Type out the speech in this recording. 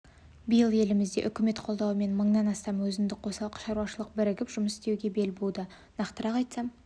биыл елімізде үкімет қолдауымен мыңнан астам өзіндік қосалқы шаруашылық бірігіп жұмыс істеуге бел буды нақтырақ айтсам